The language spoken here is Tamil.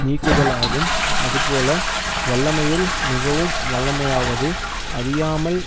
நீக்குதலாகும் அதுபோல வல்லமையுள் மிகவும் வல்லமையாவது அறியாமல்